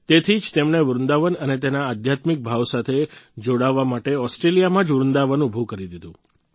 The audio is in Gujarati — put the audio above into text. તેથી જ તેમણે વૃંદાવન અને તેના આધ્યાત્મિક ભાવ સાથે જોડાવા માટે ઓસ્ટ્રેલિયામાં જ વૃંદાવન ઉભું કરી દીધું